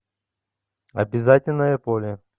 обязательное поле